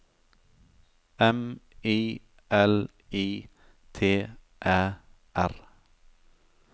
M I L I T Æ R